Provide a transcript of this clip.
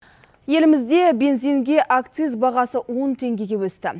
елімізде бензинге акциз бағасы он теңгеге өсті